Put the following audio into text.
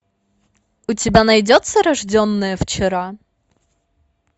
у тебя найдется рожденная вчера